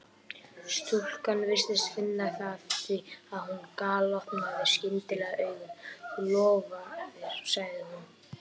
Stúlkan virtist finna það því að hún galopnaði skyndilega augun: Þú lofaðir sagði hún.